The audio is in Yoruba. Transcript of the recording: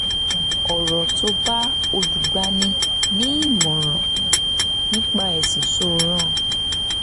ọ̀rọ̀ tó bá olùgbani-nímọ̀ràn nípa ẹ̀sìn sọ ràn